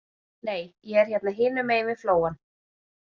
Nei, ég er hérna hinum megin við flóann.